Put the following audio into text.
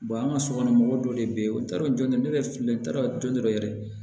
an ka sokɔnɔmɔgɔw dɔ de bɛ yen o taara jɔnjɔn ne yɛrɛ filɛ n'a jɔn dɔ yɛrɛ